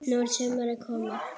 Núna er sumarið komið.